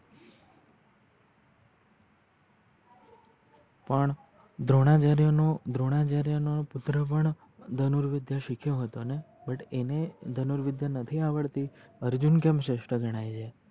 પણ દ્રોણાચાર્ય નો દ્રોણાચાર્ય પુત્ર પણ ધનુરવિધ્ય સિખ્યો હતો ને but અને ધનુરવિધ્ય નથી આવડતી અર્જુન કેએમ શ્રેસ્થ ગણાઈ છે?